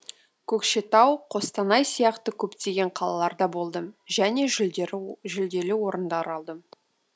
көкшетау қостанай сияқты көптеген қалаларда болдым және жүлдері орындар алдым